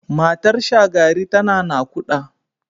Matar Shagari tana naƙuda.